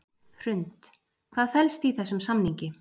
Hrund: Hvað felst í þessum samningi?